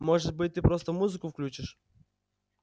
может быть ты просто музыку включишь